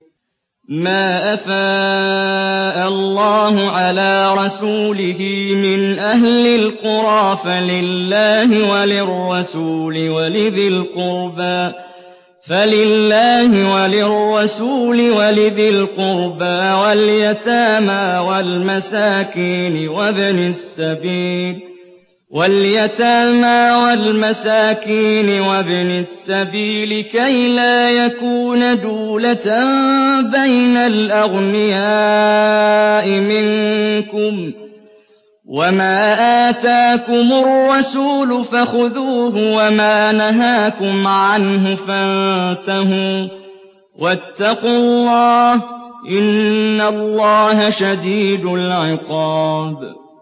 مَّا أَفَاءَ اللَّهُ عَلَىٰ رَسُولِهِ مِنْ أَهْلِ الْقُرَىٰ فَلِلَّهِ وَلِلرَّسُولِ وَلِذِي الْقُرْبَىٰ وَالْيَتَامَىٰ وَالْمَسَاكِينِ وَابْنِ السَّبِيلِ كَيْ لَا يَكُونَ دُولَةً بَيْنَ الْأَغْنِيَاءِ مِنكُمْ ۚ وَمَا آتَاكُمُ الرَّسُولُ فَخُذُوهُ وَمَا نَهَاكُمْ عَنْهُ فَانتَهُوا ۚ وَاتَّقُوا اللَّهَ ۖ إِنَّ اللَّهَ شَدِيدُ الْعِقَابِ